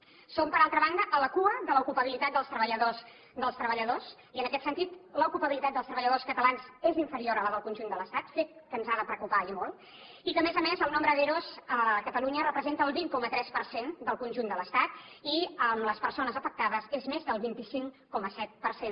som per altra banda a la cua de l’ocupabilitat dels treballadors i en aquest sentit l’ocupabilitat dels treballadors catalans és inferior a la del conjunt de l’estat fet que ens ha de preocupar i molt i que a més a més el nombre d’ero a catalunya representa el vint coma tres per cent del conjunt de l’estat i amb les persones afectades és més del vint cinc coma set per cent